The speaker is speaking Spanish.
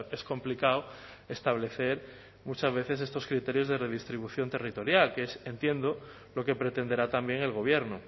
es complicado establecer muchas veces estos criterios de redistribución territorial que es entiendo lo que pretenderá también el gobierno